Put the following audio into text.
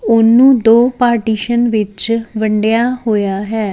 ਉਹਨੂੰ ਦੋ ਪਾਰਟੀਸ਼ਨ ਵਿੱਚ ਵੰਡਿਆ ਹੋਇਆ ਹੈ।